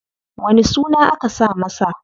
Wani suna aka saka masa?